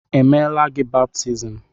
Emeela gị baptizim?